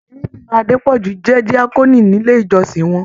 Arábìnrin Adepoju jẹ́ diakoni nílé íjọ́sìn wọn.